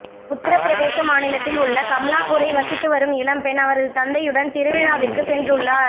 உத்திர பிரதேச மாநிலத்தில் உள்ள கம்லாபூரை வசித்து வரும் இளம்பெண் அவரது தந்தையுடன் திருவிழாவிற்கு சென்று உள்ளார்